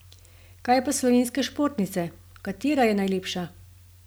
Kaj pa slovenske športnice, katera je najlepša?